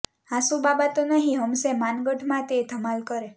હાંસુ બાબા તો નહીં હમઝે માનગઢ મા તે ધમાલ કરે